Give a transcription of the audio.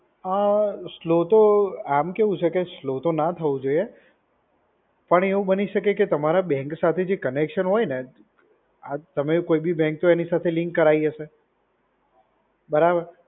અ slow તો આમ કેવું છે કે સ્લો તો ના જ હોવું જોઈએ. પણ એવું બની શકે કે તમારા બેંક સાથે જે કનેક્શન હોય ને, આ તમે કોઈ બી બેંક તો એની સાથે લિન્ક કરાવી હશે. બરાબર?